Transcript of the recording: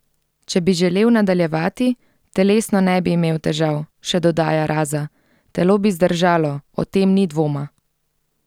Če bi želel nadaljevati, telesno ne bi imel težav, še dodaja Raza: "Telo bi zdržalo, o tem ni dvoma.